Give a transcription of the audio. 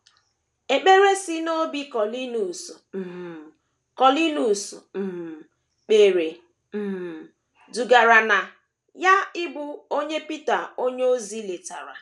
Ekpere si n’obi Kọniliọs um Kọniliọs um kpere um dugara na ya ịbụ onye Pita onyeozi letara